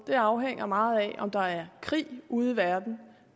det afhænger meget af om der er krig ude i verden